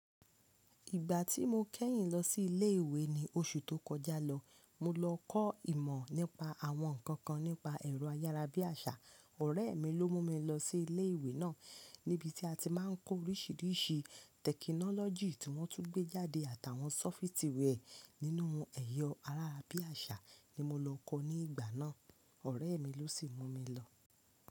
Ìgbà tí mo kẹ́yìn lọ sí ilé ìwé ní oṣù tó kọjá lọ, mo lọ kọ́ ìmọ̀ nípa àwọn nǹkan kan nípa ẹ̀rọ ayára bí àṣá. Ọ̀rẹ́ mi ló mú mi lọ sí ilé ìwé náà, níbi tí a ti máa ń kọ́ oríṣiríṣi tẹ̀kínọ́lọ́jì tí wọ́n tún gbé jáde àtàwọn sọ́fítì wẹ́ẹ̀ nínú ẹ̀rọ ayara bí àṣá ni mo lọ kọ́ ní ìgbà náà. Ọ̀rẹ́ mi ló sì mú mi lọ.